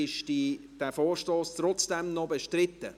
Ist dieser Vorstoss trotzdem noch bestritten?